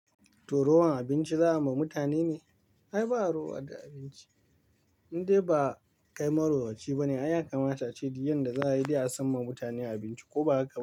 Toh rowan abinci za a yi ma mutane ne? Ai ba'a rowa ga abinci. Indai ba, kai maruwanci bane. Ai ya kamata a ce duk yanda za a yi dai a san ma mutane abinci ko ba haka?